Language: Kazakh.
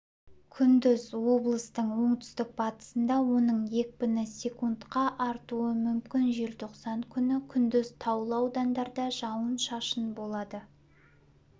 күндіз облыстың оңтүстік-батысында оның екпіні секкндқа артуы мүмкін желтоқсан күні күндіз таулы аудандарда жауын-шашын болады